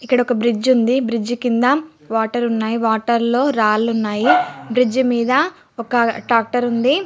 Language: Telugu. ఇక్కడ ఒక బ్రిడ్జి ఉంది. బ్రిడ్జి కింద వాటర్ ఉన్నాయి. వాటర్ లో రాళ్లు ఉన్నాయి. బ్రిడ్జ్ మీద ఒక ట్రాక్టర్ ఉంది.